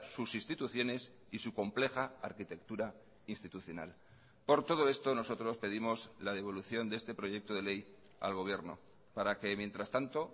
sus instituciones y su compleja arquitectura institucional por todo esto nosotros pedimos la devolución de este proyecto de ley al gobierno para que mientras tanto